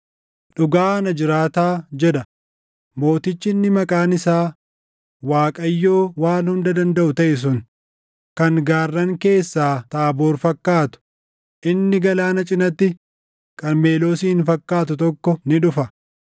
“Dhugaa ana jiraataa” jedha mootichi inni maqaan isaa Waaqayyoo Waan Hunda Dandaʼu taʼe sun “kan gaarran keessaa Taaboor fakkaatu, inni galaana cinatti Qarmeloosin fakkaatu tokko ni dhufa.